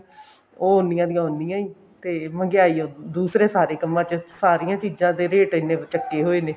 ਉਹ ਉੰਨੀਆਂ ਦੀ ਉੰਨੀਆਂ ਈ ਤੇ ਮਹਿੰਗਿਆਈ ਦੂਸਰੇ ਸਾਰੇ ਕੰਮਾਂ ਚ ਸਾਰਿਆਂ ਚੀਜਾਂ ਦੇ ਰੇਟ ਇੰਨੇ ਚੱਕੇ ਹੋਏ ਨੇ